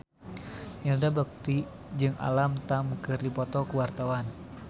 Indra Bekti jeung Alam Tam keur dipoto ku wartawan